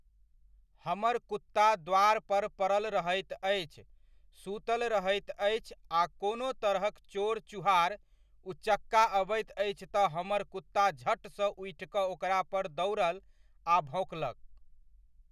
हमर कुत्ता द्वारपर पड़ल रहैत अछि, सुतल रहैत अछि आ कोनो तरहक चोर चुहार, उचक्का अबैत अछि तऽ हमर कुत्ता झट सऽ उठि कऽ ओकरापर दौड़ल आ भौङ्कलक।